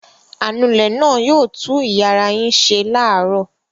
Anulẹ̀ náà yóò tú ìyàrá yín ṣe láàárọ̀.